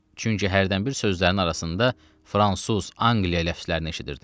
Çünki hərdən bir sözlərinin arasında fransız, Angliya ləfzlərini eşidirdim.